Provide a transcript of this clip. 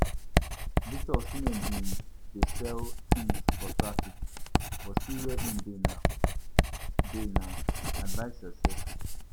Victor Osimhen bin dey sell tins for traffic but see where im dey now dey now, advice yoursef.